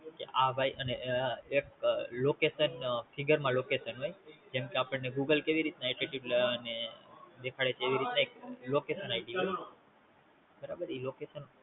આ ભાઈ અને એક Location finger માં Location હોય જેમ કે આપણ ને Google કેવીરીતના દેખાડે છે એવી રીતના એક LocationID હોય બરાબર